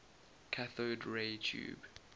cathode ray tube